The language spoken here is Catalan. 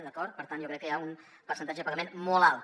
d’acord per tant jo crec que hi ha un percentatge de pagament molt alt